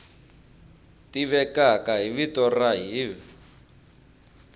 tivekaka hi vito ra hiv